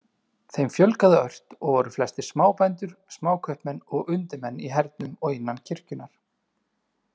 Þeim fjölgaði ört og voru flestir smábændur, smákaupmenn og undirmenn í hernum og innan kirkjunnar.